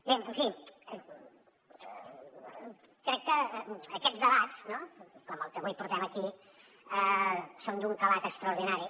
bé en fi crec que aquests debats com el que avui portem aquí són d’un calat extraordinari